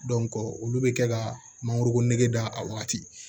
olu bɛ kɛ ka mangoro nege da a wagati